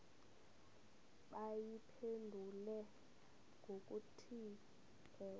bayiphendule ngokuthi ewe